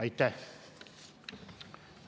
Aitäh!